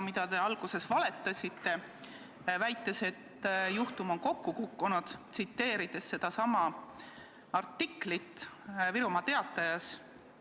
Te alguses valetasite, väites, et juhtum on kokku kukkunud, tsiteerides artiklit Virumaa Teatajast.